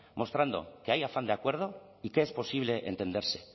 mostrando que hay afán de acuerdo y que es posible entenderse